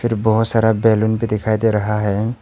और बहुत सारा बैलून भी दिखाई दे रहा है।